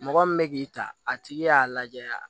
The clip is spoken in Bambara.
Mɔgɔ min bɛ k'i ta a tigi y'a lajɛ